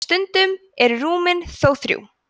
stundum eru rúmin þó þrjú